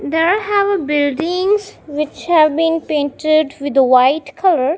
there have a buildings which have been painted with the white colour.